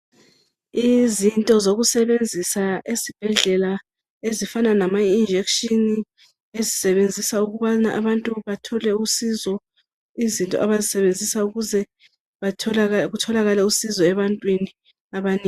Izinto zokusebenzisa esibhedlela ezifana lamajekiseni ezisebenziswa ukuthi abantu bathole usizo izinto abazisebenzisa ukuze kutholakale usizo ebantwini abanengi.